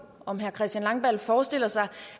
om herre christian langballe forestiller sig